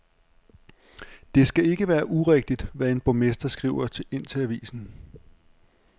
Det skal ikke være urigtigt, hvad en borgmester skriver ind til avisen.